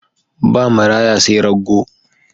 Ba maraya sai raggo.